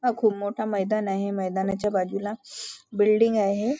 अं खूप मोठा मैदान आहे मैदानाच्या बाजूला बिल्डिंग आहे.